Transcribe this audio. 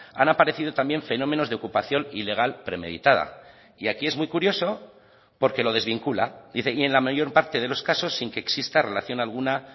han aparecido también fenómenos de ocupación ilegal premeditada y aquí es muy curioso porque lo desvincula dice y en la mayor parte de los casos sin que exista relación alguna